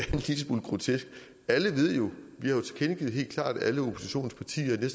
smule grotesk alle ved jo vi har tilkendegivet helt klart alle oppositionens partier at